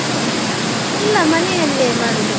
ಇಲ್ಲ ಮನೆಯಲ್ಲೇ ಮಾಡುದು.